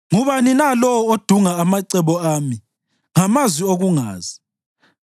“Ngubani na lowo odunga amacebo ami ngamazwi okungazi?